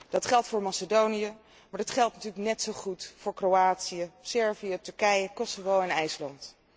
Dat geldt voor Macedonië, maar dat geldt natuurlijk net zo goed voor Kroatië, Servië, Turkije, Kosovo en IJsland.